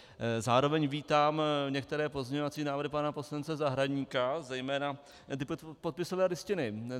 Zároveň vítám některé pozměňovací návrhy pana poslance Zahradníka, zejména ty podpisové listiny.